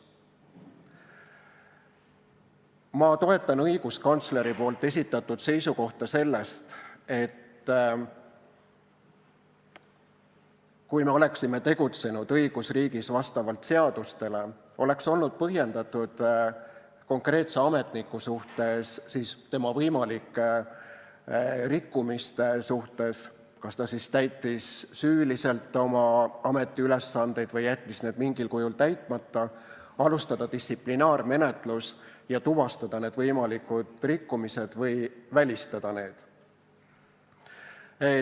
Ma toetan õiguskantsleri esitatud seisukohta, et kui me oleksime tegutsenud õigusriigis vastavalt seadustele, oleks olnud põhjendatud konkreetse ametniku suhtes, tema võimalike rikkumiste suhtes, kas ta siis täitis süüliselt oma ametiülesandeid või jättis need mingil kujul täitmata, alustada distsiplinaarmenetlus ja tuvastada need võimalikud rikkumised või välistada need.